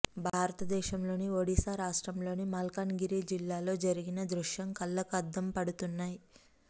భారతదేశంలోని ఒడిస్సా రాష్ట్రంలోని మల్కాన్ గిరి జిల్లాలో జరిగిన దృశ్యం కళ్లకు అద్దం పడుతున్నాయి